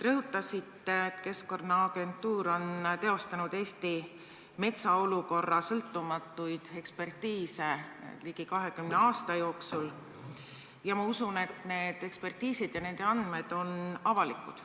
Rõhutasite, et Keskkonnaagentuur on teinud Eesti metsa olukorra kohta sõltumatuid ekspertiise ligi 20 aasta jooksul, ja ma usun, et need ekspertiisid ja nende andmed on avalikud.